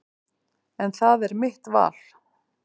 En það er mitt val.